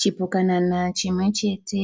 Chipukanana chimwechete